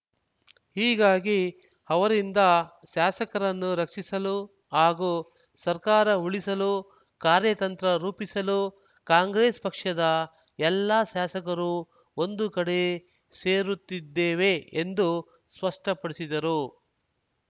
ಹೀಗಾಗಿ ಅವರಿಂದ ಶಾಸಕರನ್ನು ರಕ್ಷಿಸಲು ಹಾಗೂ ಸರ್ಕಾರ ಉಳಿಸಲು ಕಾರ್ಯತಂತ್ರ ರೂಪಿಸಲು ಕಾಂಗ್ರೆಸ್‌ ಪಕ್ಷದ ಎಲ್ಲ ಶಾಸಕರು ಒಂದು ಕಡೆ ಸೇರುತ್ತಿದ್ದೇವೆ ಎಂದು ಸ್ಪಷ್ಟಪಡಿಸಿದರು